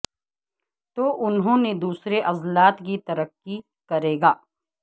تو انہوں نے دوسرے عضلات کی ترقی کرے گا